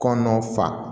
Kɔnɔ fa